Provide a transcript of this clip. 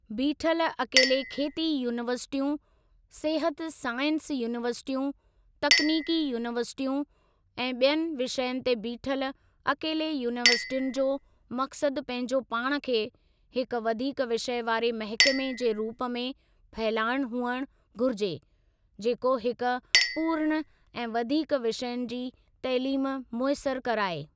बीठल अकेले खेती यूनीवर्सिटियूं, सिहत साइंस यूनीवर्सिटियूं, तकनीकी यूनीवर्सिटियूं ऐं ॿियनि विषयनि ते बीठल अकेले यूनीवर्सिटियुनि जो मक़सद पंहिंजो पाण खे हिक वधीक विषय वारे महकमे जे रूप में फहिलाइणु हुअणु घुरिजे, जेको हिक पूर्ण ऐं वधीक विषयनि जी तइलीम मुयसर कराए।